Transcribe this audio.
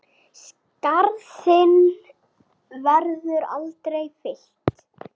Skarð þinn verður aldrei fyllt.